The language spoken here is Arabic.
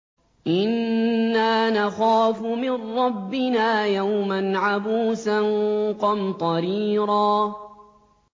إِنَّا نَخَافُ مِن رَّبِّنَا يَوْمًا عَبُوسًا قَمْطَرِيرًا